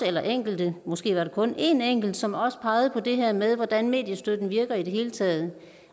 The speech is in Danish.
er enkelte måske var det kun en enkelt som også pegede på det her med hvordan mediestøtten virker i det hele taget